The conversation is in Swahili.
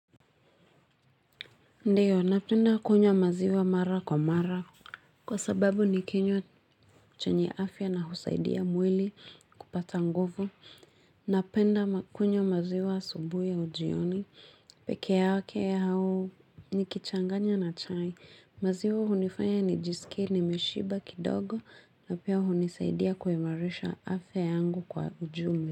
Ndiyo, napenda kunywa maziwa mara kwa mara. Kwa sababu ni kinywa chenye afya na husaidia mwili kupata nguvu. Napenda kunywa maziwa asubuhi na jioni. Pekee yake au nikichanganya na chai. Maziwa hunifanya nijisikie nimeshiba kidogo na pia hunisaidia kuimarisha afya yangu kwa ujumla.